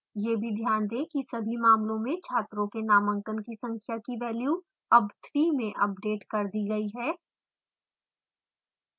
यह भी ध्यान दें कि सभी मामलों में छात्रों के नामांकन की संख्या की value अब 3 में अपडेट कर दी गई है